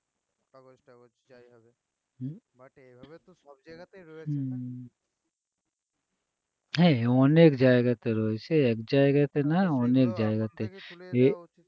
হম হে অনেক জায়গাতে রয়েছে একজায়গাতে না অনেক জায়গাতে এ~